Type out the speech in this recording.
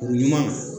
Kuru ɲuman